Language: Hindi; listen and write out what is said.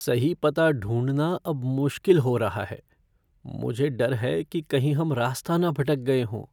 सही पता ढूंढ़ना अब मुश्किल हो रहा है। मुझे डर है कि कहीं हम रास्ता ना भटक गए हों।